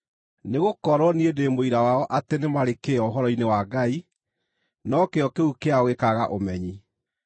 Nĩgũkorwo niĩ ndĩ mũira wao atĩ nĩ marĩ kĩyo ũhoro-inĩ wa Ngai, no kĩyo kĩu kĩao gĩkaaga ũmenyi.